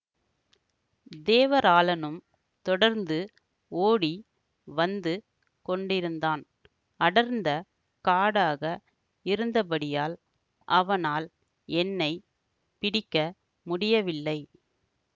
தேவராளனும் தொடர்ந்து ஓடி வந்து கொண்டிருந்தான் அடர்ந்த காடாக இருந்தபடியால் அவனால் என்னை பிடிக்க முடியவில்லை